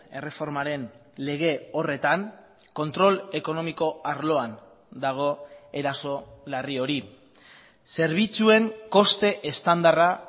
erreformaren lege horretan kontrol ekonomiko arloan dago eraso larri hori zerbitzuen koste estandarra